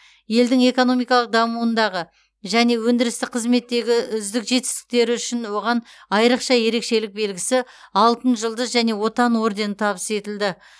елдің экономикалық дамуындағы және өндірістік қызметтегі үздік жетістіктері үшін оған айрықша ерекшелік белгісі алтын жұлдыз және отан ордені табыс етілді